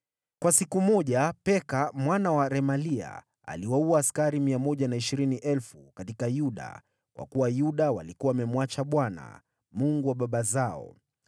Kwa siku moja Peka mwana wa Remalia aliwaua askari 120,000 katika Yuda, kwa kuwa Yuda walikuwa wamemwacha Bwana , Mungu wa baba zao.